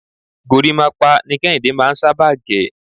gorímápá ni Kéhìndé máà ń sábà gẹ̀..